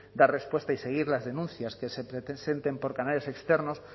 dar respuesta y seguir las denuncias que se presenten por canales externos